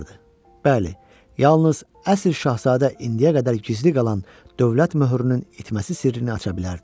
Bəli, yalnız əsl şahzadə indiyə qədər gizli qalan dövlət möhrünün itməsi sirrini aça bilərdi.